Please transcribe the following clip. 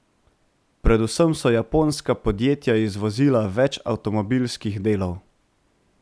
Predvsem so japonska podjetja izvozila več avtomobilskih delov.